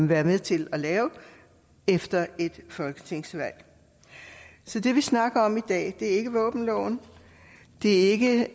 være med til at lave efter et folketingsvalg så det vi snakker om i dag er ikke våbenloven det er ikke